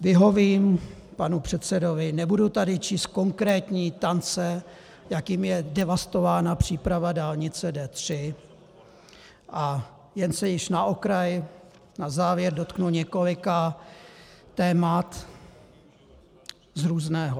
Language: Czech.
Vyhovím panu předsedovi, nebudu tady číst konkrétní tance, jakými je devastována příprava dálnice D3, a jen se již na okraj na závěr dotknu několika témat z různého.